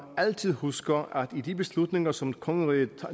altid husker at de beslutninger som kongeriget